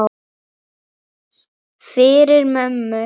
Fyrir mömmu.